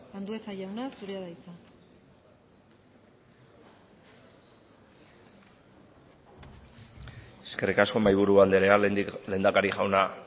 andueza jauna zurea da hitza eskerrik asko mahi buru andrea lehendakari jauna